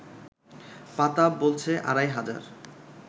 পাতা বলছে আড়াই হাজার